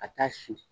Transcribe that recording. Ka taa si